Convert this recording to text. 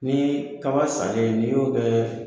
Ni kaba sannen n'i y'o kɛ